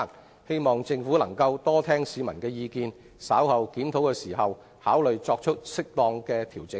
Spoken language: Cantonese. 我希望政府多聽取市民的意見，在稍後檢討時考慮作出適當的調整。